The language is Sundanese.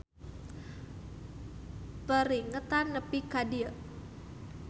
Peringetan nepi ka dieu.